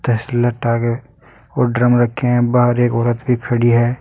और ड्रम रखें हैं बाहर एक औरत भी खड़ी है।